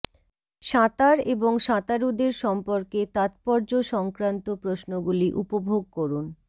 সাঁতার এবং সাঁতারুদের সম্পর্কে তাত্পর্য সংক্রান্ত প্রশ্নগুলি উপভোগ করুন